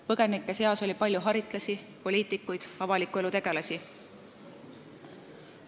Põgenike seas oli palju haritlasi, poliitikuid ja avaliku elu tegelasi.